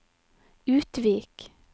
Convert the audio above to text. Utvik